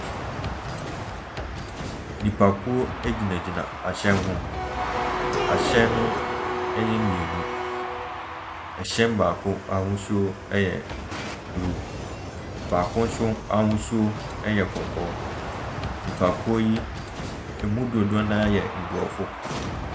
Nnipakuo egyinagyina ahyɛn ho. Ahyɛn yɛ mmienu. Ɛhyɛ baako a ahosuo yɛ blue. Baako nso ahosuo yɛ kɔkɔɔ. Nnipakuo yi, emu dodoɔ no ara yɛ Mmorɔfo.